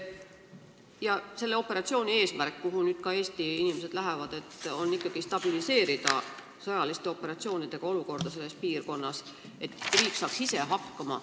Ja selle operatsiooni eesmärk, kuhu ka nüüd Eesti inimesed lähevad, on stabiliseerida sõjaliste operatsioonidega olukorda selles piirkonnas, et riik saaks ise hakkama.